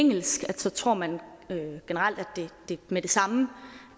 engelsk tror man generelt at det med det samme